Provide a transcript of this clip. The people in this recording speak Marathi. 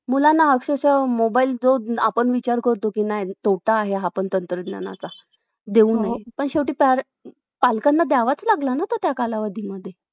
तरी पण एवढी समाधानकारक नाहीयेत कारण, परत तेच कि भारताची लोकसंख्या एवढ्या मोठ्या प्रमाणात वाढतीये आपण जर म्हंटल, अं विचार केला तर भारतात आज जर ग्रामीण भागात आपण बघितलं तर,